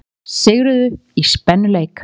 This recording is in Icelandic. Lettar sigruðu í spennuleik